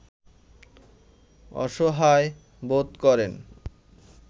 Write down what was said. অসহায় বোধ করেন